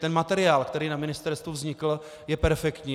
Ten materiál, který na ministerstvu vznikl, je perfektní.